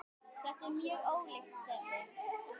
Þetta er mjög ólíkt þeirri